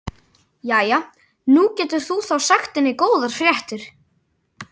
Jæja, nú getur þú þá sagt henni góðar fréttir.